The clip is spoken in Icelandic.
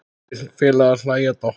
Þeir félagar hlæja dátt.